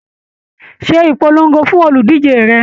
Ṣé ìpolongo fún oludije rẹ!